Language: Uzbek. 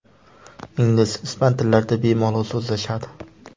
Ingliz, ispan tillarida bemalol so‘zlashadi.